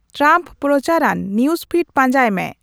Trump ᱯᱨᱚᱪᱟᱨ ᱟᱱ news feed ᱯᱟᱡᱟᱸᱭ ᱢᱮ